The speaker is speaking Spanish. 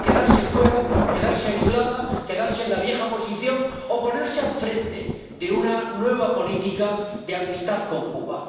¿Quedarse fuera, quedarse aislada, quedarse en la vieja posición o ponerse al frente de una nueva política de amistad con Cuba?